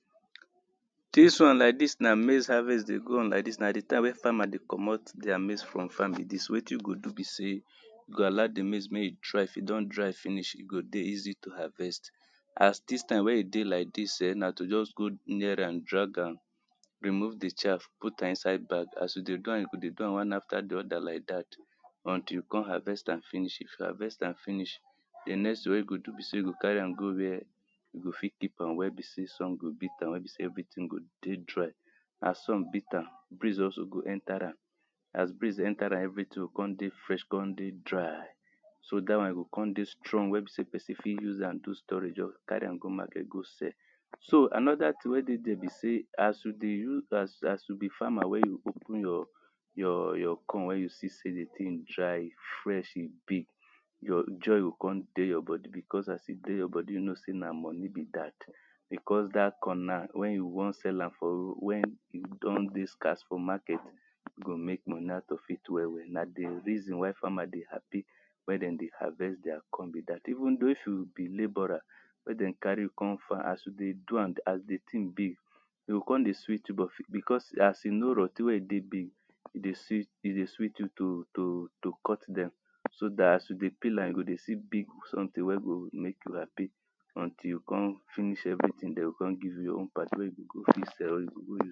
Dis one like dis na maize harvest dey go on like dis na di time wey farmers dey comot their maize from farm be dis, wetin you go do be sey you go allow di maize make e dry, if e don dry finish e go dey easy to harvest As dis time wey e dey like dis um na to just go near am drag am remove di chaf put am inside bag. As you dey do am, you go dey do am one after di other like dat until you come harvest am finish. if you harvest am finish, di next tin wey you go do sey, you go to carry am go where you go fit keep where be sey sun go beat am where be sey everything go dey dry As sun beat am, breeze also go enter am. As breeze enter am, everything go come dey fresh, come dey dry so dat one go e come dey strong wey be person go fit use am do storage or carry am go market go sell So another thing wey dey there be sey as you dey, as you be farmer wey open your your your corn, wen you see di thing dry, fresh e big, joy go come dey your body because as e dey your body you know sey na moni be dat, because dat corn na wen you wan sell am am for road, wen wen e don dey scarce for market, you go make money out of it well well, na di reason why farmers dey happy wey dem dey harvest their corn be dat. Even though if you be laborer, wen dem carry you come farm as you dey do am as di thing be e go come dey sweet you because as e no rot ten wey dey big e dey sweet you to cut dem so dat as you dey peel am you go dey see big something wey go make you happy until you come finish everytin, dem go come give your own part wey you go go fit sell or you go